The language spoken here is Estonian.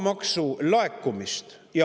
Maamaksu laekumise.